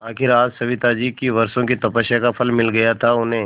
आखिर आज सविताजी की वर्षों की तपस्या का फल मिल गया था उन्हें